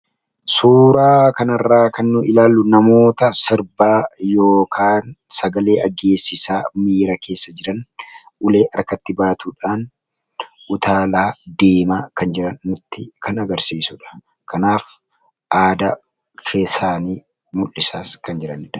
Suuraa kanarraa kan ilaallu namoota sirbaa yookaan sagalee aggeessisaa miira keessa jiran ulee harkatti baatuudhaan utaalaa deemaa kan jiran nutti kan agarsiisudha. Kanaaf aadaa isaanii mul'isaas kan jiranidha.